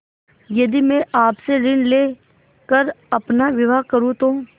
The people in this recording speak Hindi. यदि मैं आपसे ऋण ले कर अपना विवाह करुँ तो